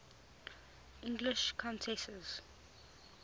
english countesses